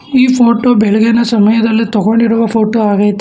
ಈ ಫೋಟೋ ಬೆಳಗಿನ ಸಮಯದಲ್ಲಿ ತಗೊಂಡಿರುವ ಫೋಟೋ ಆಗೈತೆ.